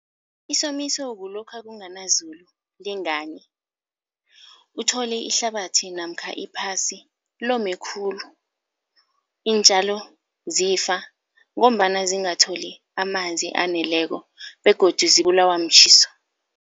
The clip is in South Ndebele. Isomiso kulokha kunganazulu, lingani. Uthole ihlabathi namkha iphasi lome khulu, iintjalo zifa ngombana zingatholi amanzi aneleko begodu zibulawa mtjhiso.